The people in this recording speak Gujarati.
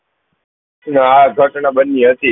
ના આ ઘટના બની હતી